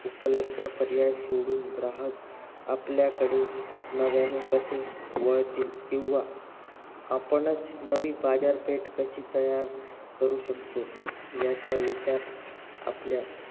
एकच पर्याय सोडून ग्राहक आपल्याकडे नव्याने कसे वळतील किंवा आपणच नवीन बाजारपेठ कशी तयात करू शकतो याचा विचार आपल्या